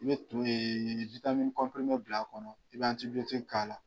I bɛ bila a kɔnɔ i bɛ k'a la.